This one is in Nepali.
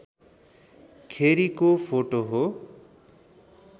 खेरिको फोटो हो